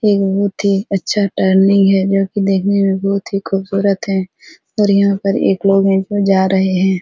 एक बहुत ही अच्छा टर्निंग है जो की देखने में बहुत ही खुबसूरत है और यहां पर एक लोग है जो जा रहे है।